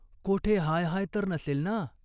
कोठे हाय हाय तर नसेल ना ?